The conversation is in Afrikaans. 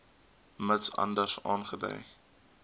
mits anders aangedui